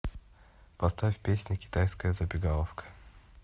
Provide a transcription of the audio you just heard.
поставь песня китайская забегаловка